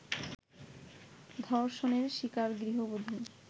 ধর্ষণের শিকার গৃহবধূ